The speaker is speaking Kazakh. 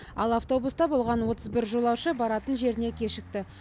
ал автобуста болған отыз бір жолаушы баратын жеріне кешікті